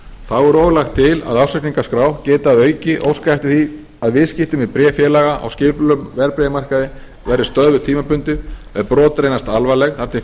þá er og lagt til að ársreikningaskrá geti að auki óskað eftir því að viðskipti með bréffélaga á skipulögðum verðbréfamarkaði verði stöðvuð tímabundið ef brot reynast alvarleg þar sem